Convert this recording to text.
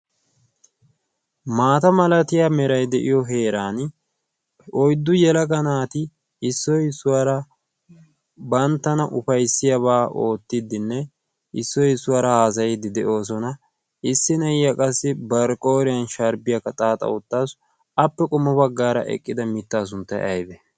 maata malatiya merai de'iyo heeran oiddu yelaga naati issoi issuwaara banttana ufaissiyaabaa oottiddinne issoy issuwaara haazayiddi de'oosona. issi ne'iya qassi barqqooriyan shaaribiyaaka xaaxa oottaassu appe qumme baggaara eqqida mittaa sunttay aybe?